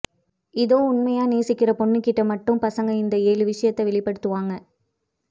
இதோ உண்மையா நேசிக்கிற பொண்ணுக்கிட்ட மட்டும் பசங்க இந்த ஏழு விஷயத்த வெளிப்படுத்துவாங்க